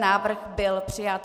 Návrh byl přijat.